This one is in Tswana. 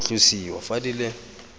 go tlosiwa fa di le